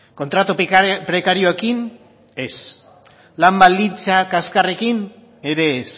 kontratu prekarioekin ez lan baldintza kaskarrekin ere ez